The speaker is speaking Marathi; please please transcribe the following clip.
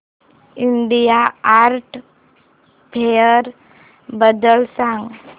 इंडिया आर्ट फेअर बद्दल सांग